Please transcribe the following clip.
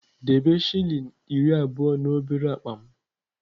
Debe shilling iri abụọ na obere akpa m!